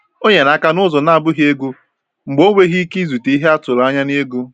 Ọ nyere aka n’ụzọ na-abụghị ego mgbe o nweghị ike izute ihe a tụrụ anya n’ego.